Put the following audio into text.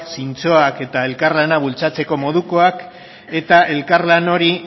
zintzoak eta elkarlana bultzatzeko modukoak eta elkarlan hori